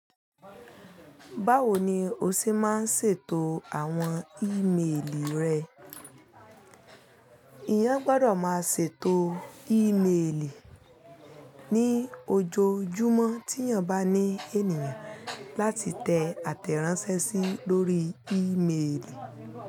Báwo ni o ṣe máa ń ṣètò àwọn ímeèlì rẹ? Èèyàn gbọ́dọ̀ máa ṣètò ímeèlì ní ojoojúmọ́ tí èèyàn bá ní ènìyàn láti tẹ àtẹ̀ránsẹ́ sí lórí ímeèlì.